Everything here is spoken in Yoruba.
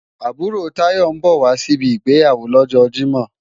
Àbúrò Táyọ̀ ń bọ̀ wá síbi ìgbéyàwó lọ́jọ Jímọ̀